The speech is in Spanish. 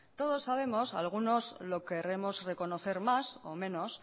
todos sabemos algunos lo querremos reconocer más o menos